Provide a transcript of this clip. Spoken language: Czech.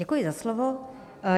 Děkuji za slovo.